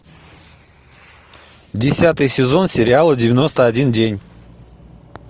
десятый сезон сериала девяносто один день